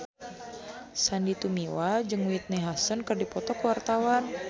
Sandy Tumiwa jeung Whitney Houston keur dipoto ku wartawan